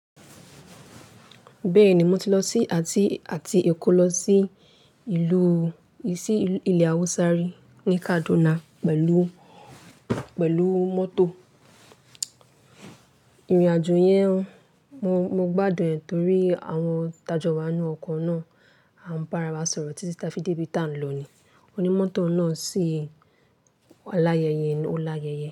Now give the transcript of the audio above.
Bẹ́ẹ̀ni, mo ti lọ sí àti èkó lọ sí ìlú, sí ilẹ Hausa ri ni Kaduna pẹ̀lú mọ́tò. Ìrìnàjò yẹn, mo gbádùn ẹ̀ torí àwọn tájọ wa ninú ọkọ̀ náà á ń para wa sọ̀rọ̀ títí táfí dé bí tá ń lọ ni. Ó ní mọ́tò náà sí aláyẹyẹ, ó láyẹyẹ.